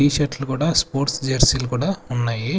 Tea షర్ట్లు కూడా sports jersey లు కూడా ఉన్నాయి.